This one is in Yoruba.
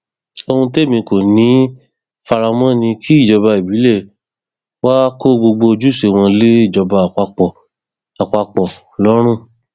ohun témi kò ní í fara mọ ni kí ìjọba ìbílẹ wàá kó gbogbo ojúṣe wọn lé ìjọba àpapọ àpapọ lọrun